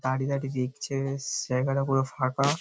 দাঁড়ি দাঁড়ি দেখছে এস জায়গাটা পুরো ফাঁকা-আ।